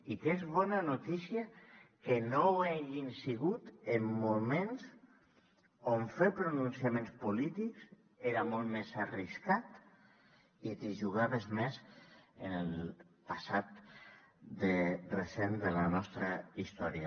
i que és bona notícia que no ho hagin sigut en moments on fer pronunciaments polítics era molt més arriscat i t’hi jugaves més en el passat recent de la nostra història